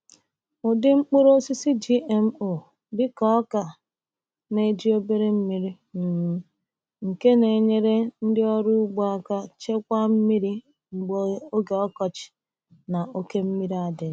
Ụdị mkpụrụ osisi GMO dịka ọka na-eji obere mmiri, um nke na-enyere ndị ọrụ ugbo aka chekwaa mmiri mgbe oge ọkọchị na oke mmiri adịghị.